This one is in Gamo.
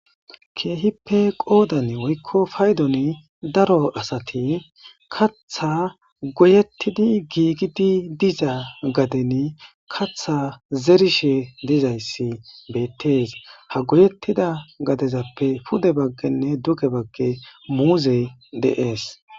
Keehippe qodani woyko paydoni daro asati katha goyetidi giigidi diza gaden katha zerishe dizaysi betes, ha goyetida gadezappe pude bagane duge bagani muuzeyi de'es.